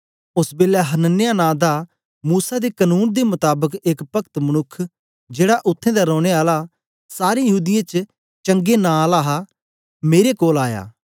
ओस बेलै हनन्याह नां दा मूसा दे कनून दे मताबक एक पक्त मनुक्ख जेड़ा उत्थें दा रौने आले सारें यहूदीयें च चंगे नां आला हा मेरे कोल आया